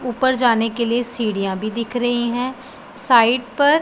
ऊपर जाने के लिए सीढ़ियां भी दिख रही हैं साइड पर--